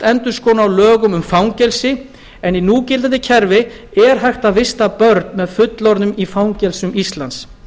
endurskoðunar á lögum um fangelsi en í núgildandi kerfi er hægt að vista börn með fullorðnum í fangelsum íslands